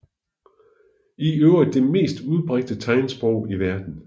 I øvrigt det mest udbredte tegnsprog i verden